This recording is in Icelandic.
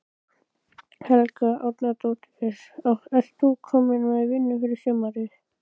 Helga Arnardóttir: Ert þú komin með vinnu fyrir sumarið?